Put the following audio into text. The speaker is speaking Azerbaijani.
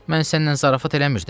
Mən sənlə zarafat eləmirdim.